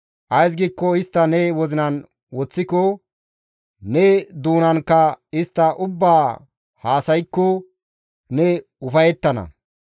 Ays giikko istta ne wozinan woththiko, ne doonanka istta ubbaa haasaykko ne ufayettana.